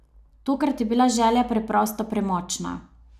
Tokrat je bila želja preprosto premočna.